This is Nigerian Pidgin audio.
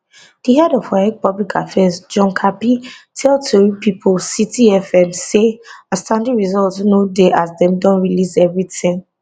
di head of waec public affairs john kapi tell tori pipo citi fm say outstanding results no dey as dem don release evritin